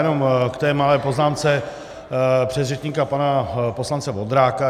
Jenom k té malé poznámce předřečníka pana poslance Vondráka.